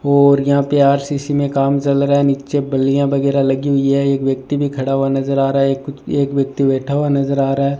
और यहां पे आर_सी_सी मे काम चल रहा है नीचे बलियां वगैरा लगी हुई है एक व्यक्ति भी खड़ा हुआ नज़र आ रहा है एक कुछ एक व्यक्ति बैठा हुआ नज़र आ रहा है।